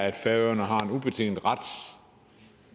at færøerne har en ubetinget ret